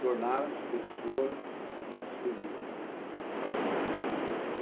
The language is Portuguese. tornar as pessoas mais felizes.